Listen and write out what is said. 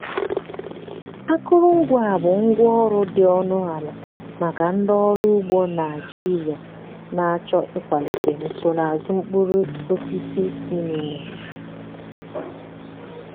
akụrụngwa a bụ ngwá ọrụ dị ọnụ ala maka ndị ọrụ ugbo naijiria na-achọ ịkwalite nsonaazụ mkpụrụ osisi inine.